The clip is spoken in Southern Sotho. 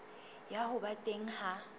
ya ho ba teng ha